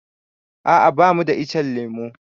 A'a bamu da ichen lemu.